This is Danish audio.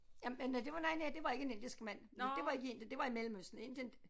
Jamen det var noget andet det var ikke en indisk mand fordi det var ikke i Indien det var i Mellemøsten Indien